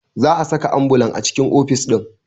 Za a saka ambulan a cikin ofis ɗin